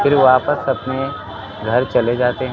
फिर वापस अपने घर चले जाते हैं।